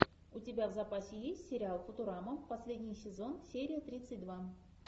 у тебя в запасе есть сериал футурама последний сезон серия тридцать два